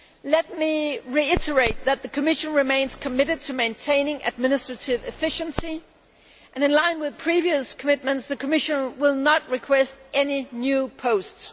Let me reiterate that the Commission remains committed to maintaining administrative efficiency and, in line with previous commitments, the Commission will not request any new posts.